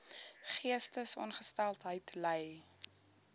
geestesongesteldheid ly